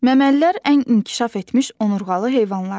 Məməlilər ən inkişaf etmiş onurğalı heyvanlardır.